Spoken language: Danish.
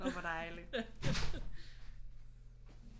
Nå hvor dejlig